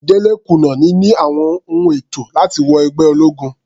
Dele kùnà níní àwọn ohun ètò láti wọ ẹgbẹ́ ológun.